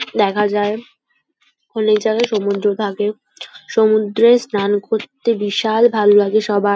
দেখা যায় অনেক জায়গায় সমুদ্র থাকে সমুদ্রে স্নান করতে বিশাল ভালো লাগে সবার।